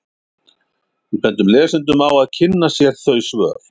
Við bendum lesendum á að kynna sér þau svör.